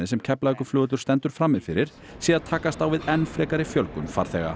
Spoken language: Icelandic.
sem Keflavíkurflugvöllur stendur frammi fyrir sé að takast á við enn frekari fjölgun farþega